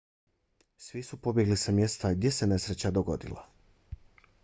svi su pobjegli sa mjesta gdje se nesreća dogodila